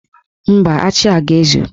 Mba, achị a ga-ezu.